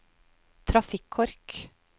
trafikkork